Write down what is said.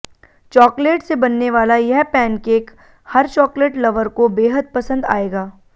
chocolate से बनने वाला यह पैनकेक हर चॉकलेट लवर को बेहद पसंद आएगा